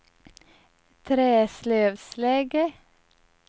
Träslövsläge